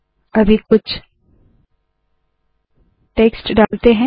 अभी कुछ टेक्स्ट डालते है